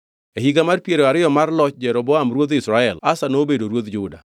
E higa mar piero ariyo mar loch Jeroboam ruodh Israel, Asa nobedo ruodh Juda,